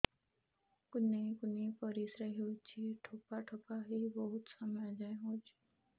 କୁନ୍ଥେଇ କୁନ୍ଥେଇ ପରିଶ୍ରା ହଉଛି ଠୋପା ଠୋପା ହେଇ ବହୁତ ସମୟ ଯାଏ ହଉଛି